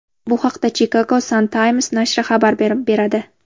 Bu haqda Chicago Sun-Times nashri xabar beradi .